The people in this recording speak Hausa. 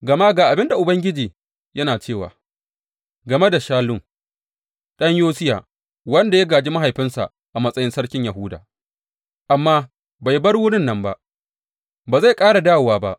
Gama ga abin da Ubangiji yana cewa game da Shallum ɗan Yosiya, wanda ya gāji mahaifinsa a matsayin sarkin Yahuda amma bai bar wurin nan ba, Ba zai ƙara dawowa ba.